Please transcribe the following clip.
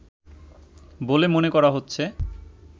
বলে মনে করা হচ্ছে